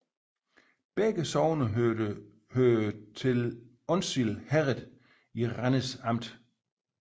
Begge sogne hørte til Onsild Herred i Randers Amt